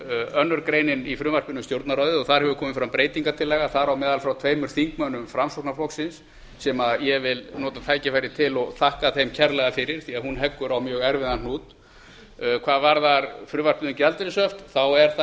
önnur grein í frumvarpinu um stjórnarráðið þar hefur komið fram breytingartillaga þar á meðal frá tveimur þingmönnum framsóknarflokksins sem ég vil nota tækifærið til og þakka þeim kærlega fyrir því hún heggur á mjög erfiðan hnút hvað varðar frumvarpið um gjaldeyrishöft er það